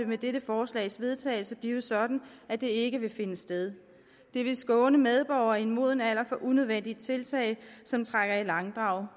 med dette forslags vedtagelse blive sådan at det ikke vil finde sted det vil skåne medborgere i en moden alder for unødvendige tiltag som trækker i langdrag